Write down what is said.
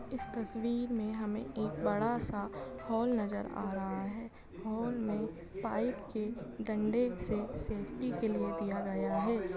इस तस्वीर में हमें एक बड़ा सा हॉल नजर आ रहा है हॉल में पाइप के डंडे से सेफ्टी के लिए दिया गया है।